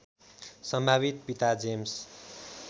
सम्भावित पिता जेम्स